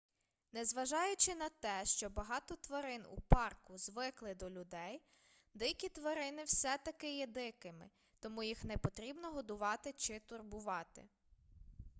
незважаючи на те що багато тварин у парку звикли до людей дикі тварини все таки є дикими тому їх не потрібно годувати чи турбувати